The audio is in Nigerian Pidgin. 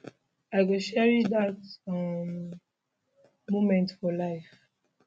i go cherish dat um moment for life